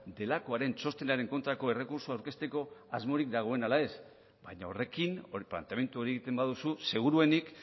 delakoaren txostenaren kontrako errekurtsoa aurkezteko asmorik dagoen ala ez baina horrekin planteamendu hori egiten baduzu seguruenik